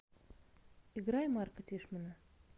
играй марка тишмана